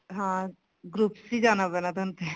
ਹਾਂ groups ਚ ਹੀ ਜਾਣਾ ਪੈਣਾ ਥੋਨੂੰ ਤੇ